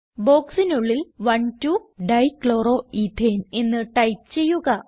ബോക്സിനുള്ളിൽ 12 dichloroethane എന്ന് type ചെയ്യുക